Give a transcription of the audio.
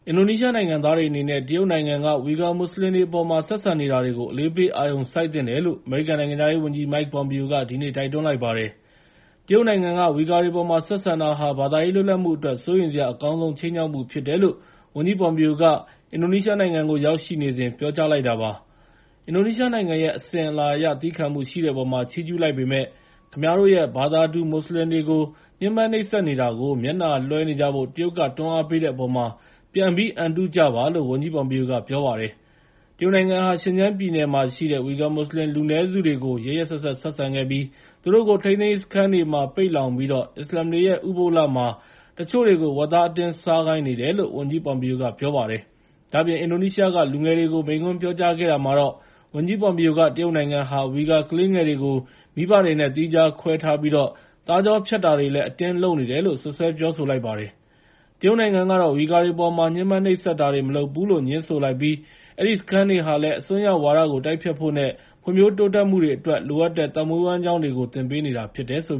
အင်ဒိုနီးရှားနိုင်ငံသားတွေအနေနဲ့ အလေးပေးအာရုံစိုက်သင့်တယ်လို့ အမေရိကန်နိုင်ငံခြားရေးဝန်ကြီး Mike Pompeo က ဒီနေ့ တိုက်တွန်းလိုက်ပါတယ်။ တရုတ်နိုင်ငံက ဝီဂါတွေအပေါ် ဆက်ဆံတာဟာ ဘာသာရေးလွတ်လပ်မှုအတွက် စိုးရိမ်စရာ အကောင်းဆုံးခြိမ်းခြောက်မှုဖြစ်တယ်လို့ ဝန်ကြီး Pompeo က အင်ဒိုနီးရှားနိုင်ငံကို ရောက်ရှိနေစဉ် ပြောကြားလိုက်တာဖြစ်ပါတယ်။ အင်ဒိုနီးရှားနိုင်ငံရဲ့ အစဉ်အလာအရ သည်းခံမှုရှိတဲ့အပေါ်မှာ ချီးကျူးလိုက်ပေမဲ့ "ခင်ဗျားတို့ရဲ့ ဘာသာတူ မွတ်စလင်တွေကို ညှဉ်းပန်းနှိပ်စက်နေတာ မျက်နှာလွဲှနေကြဖို့ တရုတ်က တွန်းအားပေးတဲ့အပေါ် ပြန်ပြီး အံတုကြပါ။" လို့ ဝန်ကြီး Pompeo က ပြောပါတယ်။ တရုတ်နိုင်ငံဟာ ရှင်ဂျန်းပြည်နယ်မှာရှိတဲ့ ဝီဂါမွတ်စလင်လူနည်းစုတွေကို ရက်ရက်စက်စက် ဆက်ဆံခဲ့ပြီး သူတို့ကို ထိန်းသိမ်းရေးစခန်းတွေမှာ ပိတ်လှောင်ပြီးတော့ အစ္စလာမ်တွေရဲ့ ဥပုသ်လမှာ တချို့တွေကို ဝက်သားအတင်းစားခိုင်းနေတယ်လို့ ဝန်ကြီး Pompeo က ပြောပါတယ်။ ဒါ့အပြင် အင်ဒိုနီးရှားက လူငယ်တွေကို မိန့်ခွန်းပြောကြားခဲ့တာမှာတော့ ဝန်ကြီး Pompeo က တရုတ်နိုင်ငံဟာ ဝီဂါကလေးငယ်တွေကို မိဘတွေနဲ့ သီးခြားခွဲထားပြီး သားကြောဖြတ်တာတွေလည်း အတင်းလုပ်နေတယ်လို့ စွပ်စွဲပြောဆိုလိုက်ပါတယ်။ တရုတ်နိုင်ငံကတော့ ဝီဂါတွေအပေါ်မှာ ညှဉ်းပန်းနှိပ်စက်တာတွေ မလုပ်ဘူးလို့ ငြင်းဆိုလိုက်ပြီး အဲဒီစခန်းတွေဟာလည်း အစွန်းရောက်ဝါဒတိုက်ဖျက်ဖို့ နဲ့ ဖွံ့ဖြိုးတိုးတက်မှုတွေအတွက် လိုအပ်တဲ့ သက်မွေးဝမ်းကျောင်းတွေကို သင်ပေးနေတာဖြစ်တယ်လို့